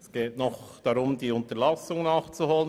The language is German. Es geht nur darum, eine Unterlassung nachzuholen.